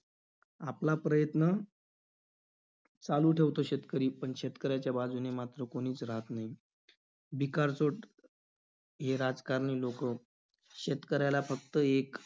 आपला प्रयत्न चालू ठेवतो शेतकरी, पण शेतकऱ्याच्या बाजूने मात्र कोणीच राहत नाही. भिकारचोट हे राजकारणी लोकं, शेतकऱ्याला फक्त एक